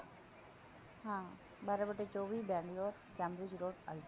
ਹਾਂ ਬਾਰਾਂ ਬੱਟਾ ਚੋਵੀ road